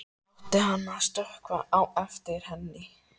Átti hann að stökkva á eftir henni?